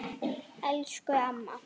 Elsku amma.